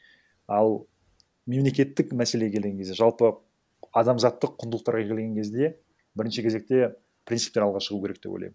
ал мемлекеттік мәселеге келген кезде жалпы адамзаттық құндылықтарға келген кезде бірінші кезекте принциптер алға шығу керек деп ойлаймын